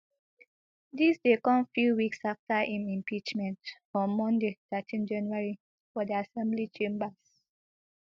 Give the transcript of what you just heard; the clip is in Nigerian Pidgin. dis dey come few weeks afta im impeachment on monday thirteen january for di assembly chambers